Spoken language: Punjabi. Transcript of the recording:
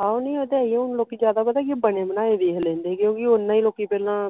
ਆਹੋ ਨਹੀਂ ਉਹ ਤਾ ਹੈ ਈਆ ਉਹ ਲੋਕੀ ਜਿਆਦਾ ਪਤਾ ਕੀ ਬਣੇ ਬਣਾਏ ਵੇਖ ਲੈਂਦੇ ਕਿਉਂਕਿ ਓਹਨਾ ਈ ਲੋਕੀ ਪਹਿਲਾ